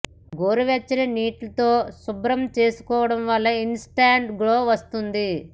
గోరువెచ్చని నీటితో శుభ్రం చేసుకోవడం వల్ల ఇన్ స్టాంట్ గ్లో వస్తుంది